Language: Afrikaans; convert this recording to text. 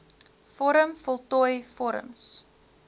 vorm voltooi vorms